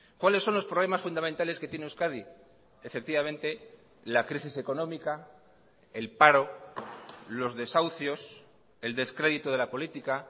cuáles son los problemas fundamentales que tiene euskadi efectivamente la crisis económica el paro los desahucios el descrédito de la política